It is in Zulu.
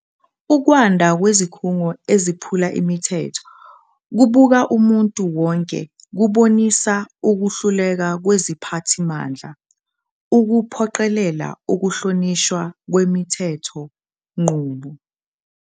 Ukwanda kwezikhungo eziphula imithetho kubuka umuntu wonke kubonisa ukuhluleka kweziphathimandla ukuphoqelela ukuhlonishwa kwemithethonqubo.